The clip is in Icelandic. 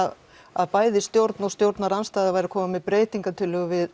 að að bæði stjórn og stjórn og stjórnarandstæða væru að koma með breytingartillögu við